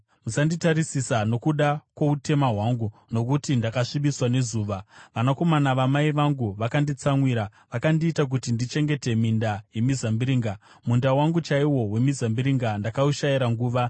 Musanditarisisa nokuda kwoutema hwangu, nokuti ndakasvibiswa nezuva. Vanakomana vamai vangu vakanditsamwira vakandiita kuti ndichengete minda yemizambiringa; munda wangu chaiwo wemizambiringa ndakaushayira nguva.